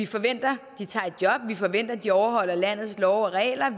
forventer at de tager et job vi forventer at de overholder landets love og regler